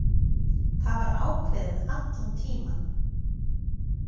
Það var ákveðið allan tímann.